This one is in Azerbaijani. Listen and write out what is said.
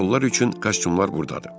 Həmin rollar üçün kostyumlar burdadır.